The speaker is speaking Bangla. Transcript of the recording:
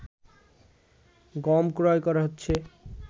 গম ক্রয় করা হচ্ছে